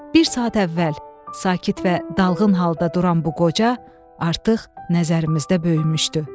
Bir saat əvvəl sakit və dalğın halda duran bu qoca artıq nəzərimizdə böyümüşdü.